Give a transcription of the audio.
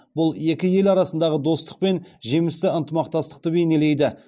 бұл екі ел арасындағы достық пен жемісті ынтымақтастықты бейнелейді